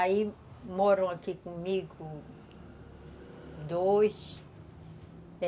Aí moram aqui comigo, dois.